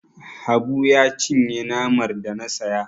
Habu ya cinye namar da na saya.